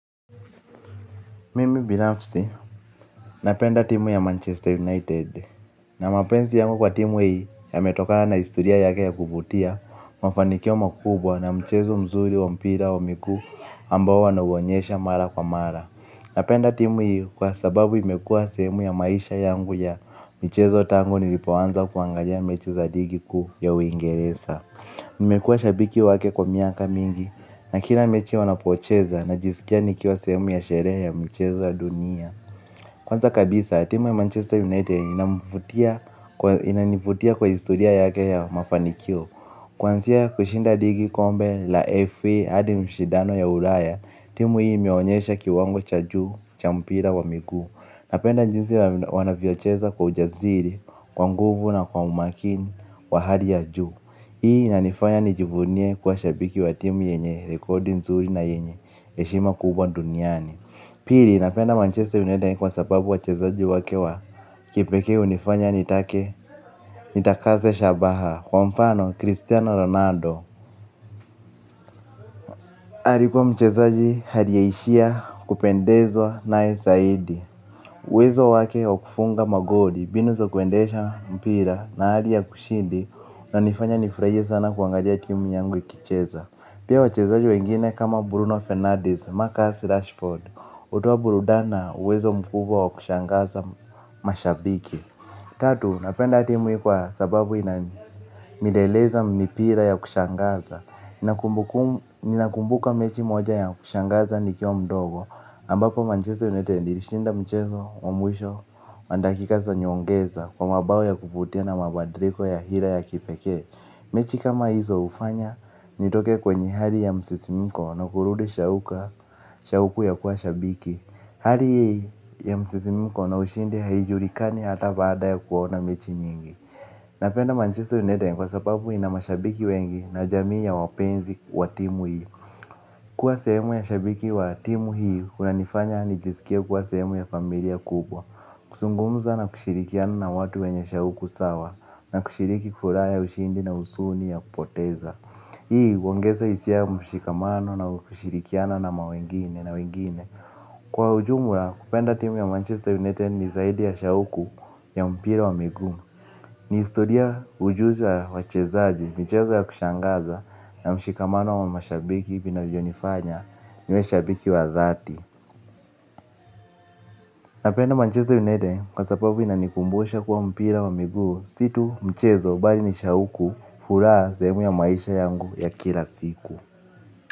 Mimi binafsi, napenda timu ya Manchester United Na mapenzi yangu kwa timu hii ya metokana na historia yake ya kuvutia. Mafanikio makubwa na mchezo mzuri wa mpira wa miguu ambao wana uonyesha mara kwa mara. Napenda timu hii kwa sababu imekuwa sehemu ya maisha yangu ya michezo tangu nilipoanza kuangalia mechi za ligi kuu ya uingereza nimekuwa shabiki wake kwa miaka mingi. Nakila mechi wanapocheza na jiskia nikiwa sehemu ya sherehe ya mchezo ya dunia. Kwanza kabisa, timu ya Manchester United inanivutia kwa historia yake ya mafanikio. Kwansia kushinda ligi kombe la FA hadi mshidano ya ulaya timu hii imeonyesha kiwango cha juu, cha mpira wa miguu. Napenda jinsi wanavyocheza kwa ujaziri, kwa nguvu na kwa umakini wa hali ya juu. Hii ina nifanya nijivunie kuwa shabiki watimu yenye rekodi nzuri na yenye heshima kubwa duniani. Pili napenda Manchester united kwa sababu wachezaji wake wa kipekee unifanya nitake. Nitakaze shabaha kwa mfano Cristiano Ronaldo. Ali kuwa mchezaji aliyeishia kupendezwa naye saidi uwezo wake kufunga magoli mbinu za kuendesha mpira na hali ya kushindi inanifanya nifurahie sana kuangalia timu yangu ikicheza. Pia wachezaji wengine kama Bruno Fernandes, Marcus Rashford, utoa burudani na uwezo mkubwa wa kushangaza mashabiki. Tatu, napenda timu hii kwa sababu ina mileleza mipira ya kushangaza. Ninakumbuka mechi moja ya kushangaza ni kiwa mdogo, ambapo manchester united. Ilishinda mchezo, wa mwisho, wa dakika za nyongeza kwa mabao ya kuvutia na mabadiliko ya hira ya kipekee. Mechi kama hizo ufanya nitoke kwenye hali ya msisimiko na kurudi shauku ya kuwa shabiki. Hali hii ya msisimiko na ushindi haijulikani hata baada ya kuona mechi nyingi. Napenda manchester united kwa sababu inama shabiki wengi na jamii ya wapenzi wa timu hii. Kuwa sehemu ya shabiki wa timu hii unanifanya nijiskie kuwa sehemu ya familia kubwa. Kuzungumza na kushirikiana na watu wenye shauku sawa na kushiriki furaha ya ushindi na husuni ya kupoteza. Hii, uongeza hisia ya mshikamano na kushirikiana na mawengine na wengine. Kwa ujumla, kupenda timu ya Manchester United ni zaidi ya shauku ya mpira wa miguu. Ni historia ujuzi wa wachezaji, michezo ya kushangaza na mshikamano wa mashabiki vinavyonifanya niwe shabiki wa thati. Napenda manchester united kwa sababu inanikumbusha kuwa mpira wa miguu situ mchezo bali nishauku furaha zehemu ya maisha yangu ya kila siku.